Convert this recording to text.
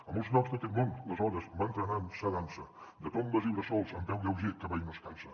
a molts llocs d’aquest món les hores van trenant sa dansa de tombes i bressols amb peu lleuger que mai no es cansa